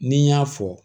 Ni n y'a fɔ